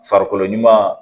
Farikolo ɲuman